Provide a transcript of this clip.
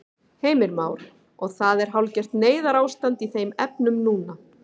Heimir Már: Og það er hálfgert neyðarástand í þeim efnum núna?